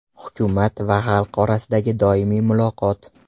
Hukumat va xalq orasidagi doimiy muloqot.